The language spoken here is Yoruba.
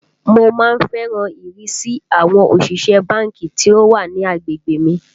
Mo má ń fẹ́ràn ìrísí àwọn òṣìṣẹ́ ẹ báńkì tí ó wà ní agbègbè mi